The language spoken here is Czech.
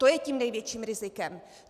To je tím největším rizikem.